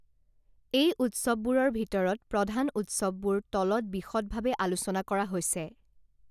এই উৎসৱ বোৰৰ ভিতৰত প্ৰধান উৎসৱবোৰ তলত বিশদ ভাবে আলোচনা কৰা হৈছে